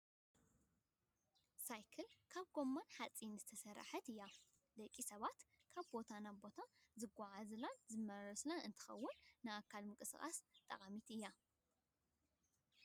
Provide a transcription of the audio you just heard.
ሳይክል ካብ ጎማን ሓፂንን ዝተሰረሓት እያ ። ደቂ ሰባት ካብ ቦታ ናብ ቦታ ዝጓዓዙላን ዝማላለሱላን እንትከውን ንኣካል ምንቅስቃስ ጠቃሚት እያ።